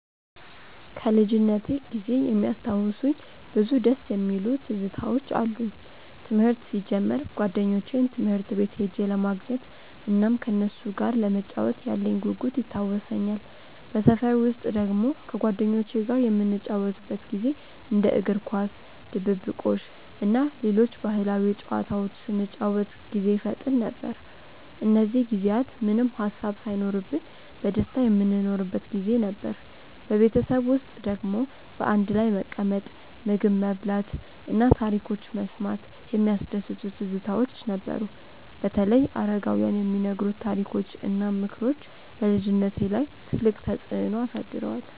ከልጅነቴ ጊዜ የሚያስታውሱኝ ብዙ ደስ የሚሉ ትዝታዎች አሉኝ። ትምህርት ሲጀምር ጓደኞቼን ትምህርት ቤት ሄጄ ለማግኘት እናም ከነሱ ጋር ለመጫወት ያለኝ ጉጉት ይታወሰኛል። በሰፈር ውስጥ ደግሞ ከጓደኞቼ ጋር የምንጫወትበት ጊዜ እንደ እግር ኳስ፣ ድብብቆሽ እና ሌሎች ባህላዊ ጨዋታዎች ስንጫወት ጊዜ ይፈጠን ነበር። እነዚህ ጊዜያት ምንም ሃሳብ ሳይኖርብን በደስታ የምንኖርበት ጊዜ ነበር። በቤተሰብ ውስጥ ደግሞ በአንድ ላይ መቀመጥ፣ ምግብ መብላት እና ታሪኮች መስማት የሚያስደስቱ ትዝታዎች ነበሩ። በተለይ አረጋውያን የሚነግሩት ታሪኮች እና ምክሮች በልጅነቴ ላይ ትልቅ ተፅዕኖ አሳድረዋል።